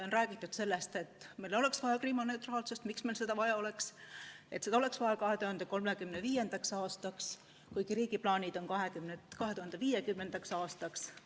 On räägitud sellest, et meil oleks vaja kriminaalneutraalsust, miks meil seda vaja oleks, et seda oleks vaja 2035. aastaks, kuigi riigi plaanid on 2050. aastaks.